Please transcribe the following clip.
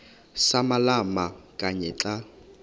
samalama kanye xa